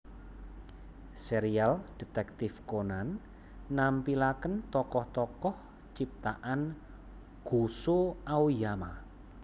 Serial Detektif Conan nampilakèn tokoh tokoh ciptaan Gosho Aoyama